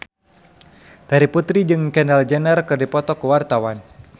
Terry Putri jeung Kendall Jenner keur dipoto ku wartawan